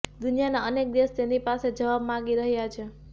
દુનિયાના અનેક દેશ તેની પાસે જવાબ માંગી રહ્યાં છે